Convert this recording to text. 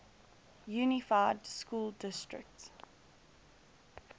unified school district